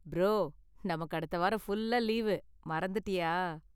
Bro, நமக்கு அடுத்த வாரம் ஃபுல்லா லீவு; மறந்துட்டியா?